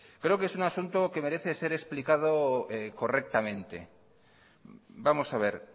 creo que es un asunto que merece ser explicado correctamente vamos a ver